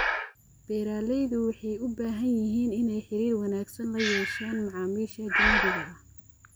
Beeralaydu waxay u baahan yihiin inay xiriir wanaagsan la yeeshaan macaamiisha ajnabiga ah.